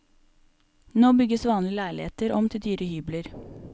Nå bygges vanlige leiligheter om til dyre hybler.